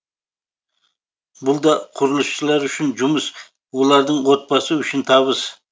бұл да құрылысшылар үшін жұмыс олардың отбасы үшін табыс